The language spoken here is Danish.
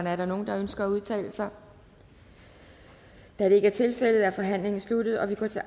er der nogen der ønsker at udtale sig da det ikke er tilfældet er forhandlingen sluttet og vi går til